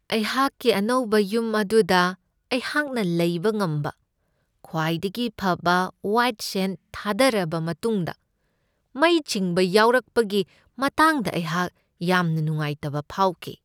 ꯑꯩꯍꯥꯛꯀꯤ ꯑꯅꯧꯕ ꯌꯨꯝ ꯑꯗꯨꯗ ꯑꯩꯍꯥꯛꯅ ꯂꯩꯕ ꯉꯝꯕ ꯈ꯭ꯋꯥꯏꯗꯒꯤ ꯐꯕ ꯋꯥꯏꯌꯗ ꯁꯦꯟ ꯊꯥꯗꯔꯕ ꯃꯇꯨꯡꯗ ꯃꯩ ꯆꯤꯡꯕ ꯌꯥꯎꯔꯛꯄꯒꯤ ꯃꯇꯥꯡꯗ ꯑꯩꯍꯥꯛ ꯌꯥꯝꯅ ꯅꯨꯡꯉꯥꯏꯇꯕ ꯐꯥꯎꯈꯤ ꯫